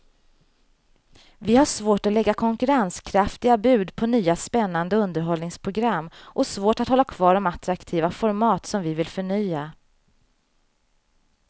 Vi har svårt att lägga konkurrenskraftiga bud på nya spännande underhållningsprogram och svårt att hålla kvar de attraktiva format som vi vill förnya.